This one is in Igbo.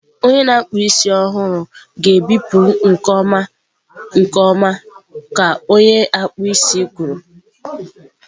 Onye na-akpụ isi ọhụrụ ga-ebipụ nke ọma nke ọma ka onye akpụ isi kwuru.